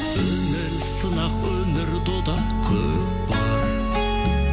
өмір сынақ өмір дода көкпар